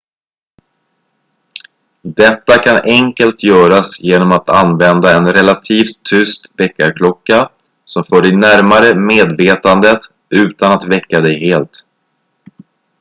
detta kan enkelt göras genom att använda en relativt tyst väckarklocka som för dig närmare medvetandet utan att väcka dig helt